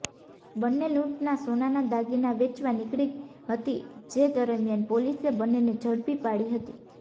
બંને લૂંટના સોનાના દાગીના વેચવા નીકળી હતી જે દરમિયાન પોલીસે બંનેને ઝડપી પાડી હતી